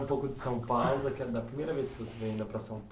um pouco de São Paulo, daquela da primeira vez que você veio ainda para São Paulo.